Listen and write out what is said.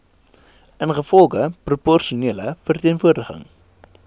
ingevolge proporsionele verteenwoordiging